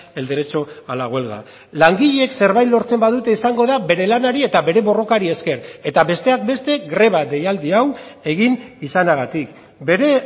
el derecho a la huelga langileek zerbait lortzen badute izango da bere lanari eta bere borrokari esker eta besteak beste greba deialdi hau egin izanagatik bere